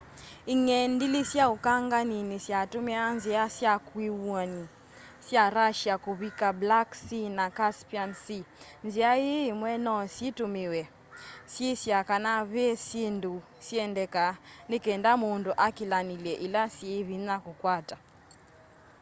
ing'endilĩ sya ũkanganĩni syatumiaa nzia sya kiwuni sya russia kuvika black sea na caspian sea nzia ii imwe no syitumiwe syisya kana ve syindu siendeka ni kenda mundu akilanilye ila syi vinya kukwata